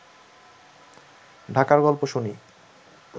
ঢাকার গল্প শুনি